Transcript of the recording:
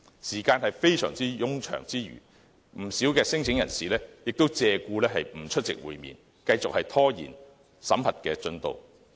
時間非常冗長之餘，不少聲請申請人亦借故不出席會面，繼續拖延審核進度。